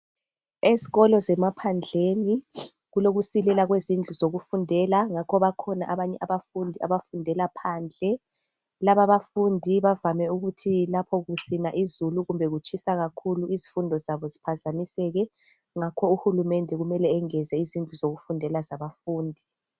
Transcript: Ezikolo zemaphandleni kulokusilela kwezindlu zokufundela ngakho bakhona abanye abafundi abafundela phandle. Laba abafundi bavame ukuthi lapho kusina izulu kumbe kutshisa kakhulu izifundo zabo ziphazamiseke ngakho uHulumende kumele engeze izindlu zokufundela zabafundi.